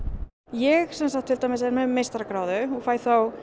ég sem sagt til dæmis er með meistaragráðu og fæ